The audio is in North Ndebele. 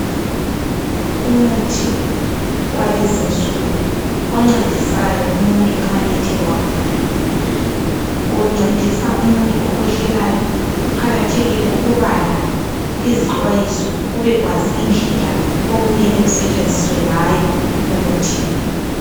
Umuthi walezinsuku oncedisayo umuntu nxa ethe wagula. Uncedisa umuntu okhwehlelayo. Kuqakathekile ukubala izixwayiso ubekwazi indlela okumele usetshenziswe ngayo umuthi lo.